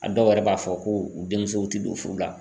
A dɔw yɛrɛ b'a fɔ ko u denmusow ti don furu la.